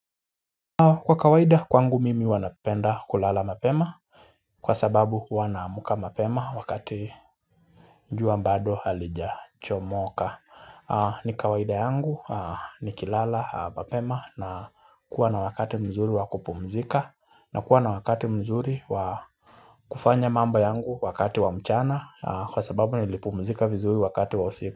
Kwa kawaida kwangu mimi huwa napenda kulala mapema kwa sababu huwa naamka mapema wakati jua bado halijachomoka. Ni kawaida yangu nikilala mapema na kuwa na wakati mzuri wa kupumzika na kuwa na wakati mzuri wa kufanya mambo yangu wakati wa mchana kwa sababu nilipumzika vizuri wakati wa usiku.